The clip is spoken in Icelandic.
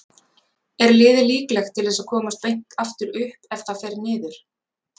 Er liðið líklegt til að komast beint aftur upp ef það fer niður?